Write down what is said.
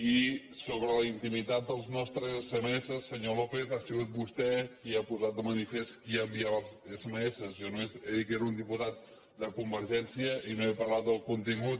i sobre la intimitat dels nostres sms senyor lópez ha sigut vostè qui ha posat de manifest qui enviava els sms jo només he dit que era un diputat de convergència i no he parlat del contingut